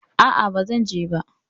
A'a, bazan je ba.